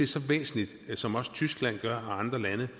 så væsentligt som også tyskland og andre lande